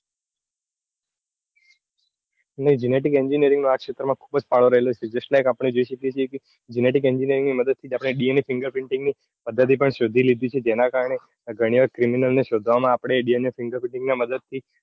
ને genetic engineering માં આ ક્ષેત્રમાં ખુબ જ ફાળો રહેલો છે justlike આપણે જોઈએ છીએ કે genetic engineering ની મદ્દ્દ થીજ આપણે DNA fingerprinting ની પદ્ધતિ પણ શોધી લીધી છે. જેના કરીને ગણી વાર criminal ને શોધવા માટે આપણે DNA fingerprinting ની મદદ થી